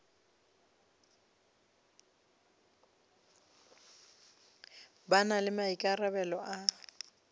ba na le maikarabelo a